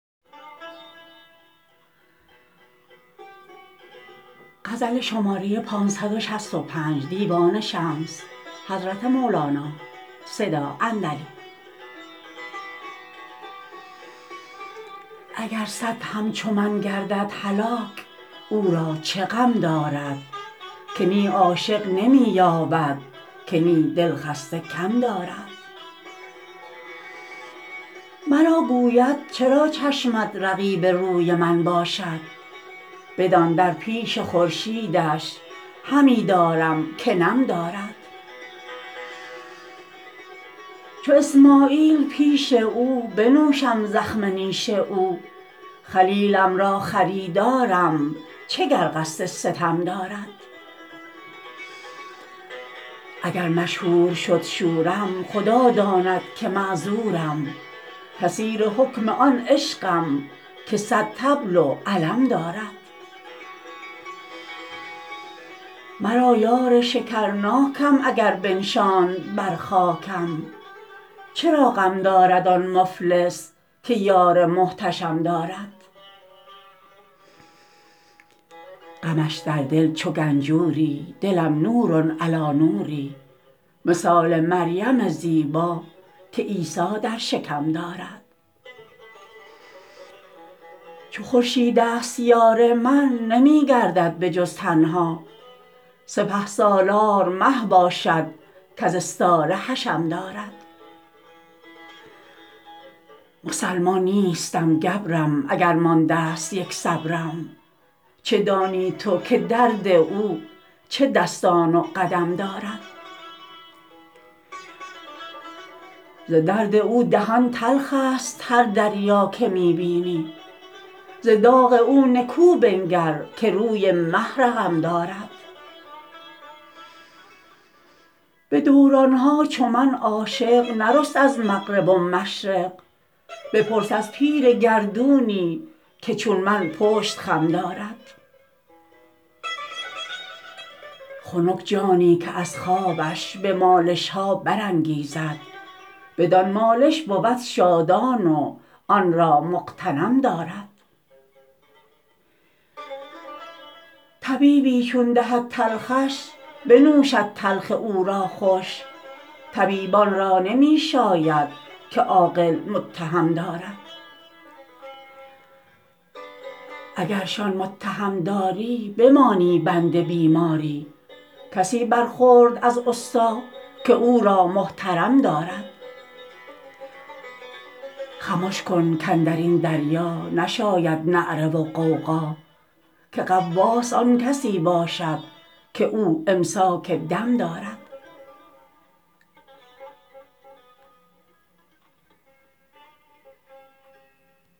اگر صد همچو من گردد هلاک او را چه غم دارد که نی عاشق نمی یابد که نی دلخسته کم دارد مرا گوید چرا چشمت رقیب روی من باشد بدان در پیش خورشید ش همی دارم که نم دارد چو اسماعیل پیش او بنوشم زخم نیش او خلیلم را خریدار م چه گر قصد ستم دارد اگر مشهور شد شورم خدا داند که معذورم که اسیر حکم آن عشقم که صد طبل و علم دارد مرا یار شکرناکم اگر بنشاند بر خاکم چرا غم دارد آن مفلس که یار محتشم دارد غمش در دل چو گنجور ی دلم نور علی نوری مثال مریم زیبا که عیسی در شکم دارد چو خورشید ست یار من نمی گردد به جز تنها سپه سالار مه باشد کز استاره حشم دارد مسلمان نیستم گبر م اگر مانده ست یک صبر م چه دانی تو که درد او چه دستان و قدم دارد ز درد او دهان تلخ است هر دریا که می بینی ز داغ او نکو بنگر که روی مه رقم دارد به دوران ها چو من عاشق نرست از مغرب و مشرق بپرس از پیر گردونی که چون من پشت خم دارد خنک جانی که از خوابش به مالش ها برانگیزد بدان مالش بود شادان و آن را مغتنم دارد طبیبی چون دهد تلخش بنوشد تلخ او را خوش طبیبان را نمی شاید که عاقل متهم دارد اگر شان متهم داری بمانی بند بیماری کسی برخورد از استا که او را محترم دارد خمش کن کاندر این دریا نشاید نعره و غوغا که غواص آن کسی باشد که او امساک دم دارد